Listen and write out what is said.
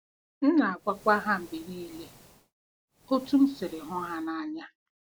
M na-agwakwa ha mgbe niile otú m siri hụ ha n’anya.